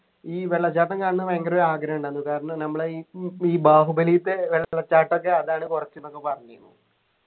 ഈ വെള്ളച്ചാട്ടം കാണ്ണ ഭയങ്കര ഒരു ആഗ്രഹം ഉണ്ടായിരുന്നു കാരണം നമ്മളെ ഈ ഈ ബാഹുബലിത്തെ വെള്ളച്ചാട്ടം ഒക്കെ അതാണ് കുറച്ച് ന്നൊക്കെ പറഞ്ഞിര്ന്നു